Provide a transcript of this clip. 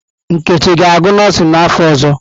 Nkechi ga-agụ nọọsịn n'afọ ọzọ?